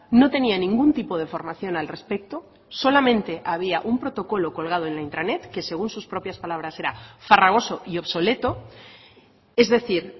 no tenía ningún tipo de formación al respecto solamente había un protocolo colgado en la intranet que según sus propias palabras era farragoso y obsoleto es decir